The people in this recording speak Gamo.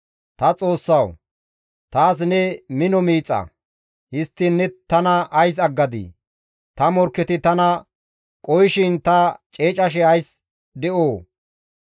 Ta Xoossawu! Taas ne mino miixa; histtiin ne tana ays aggadii? Ta morkketi tana qohishin ta ceecashe ays de7oo?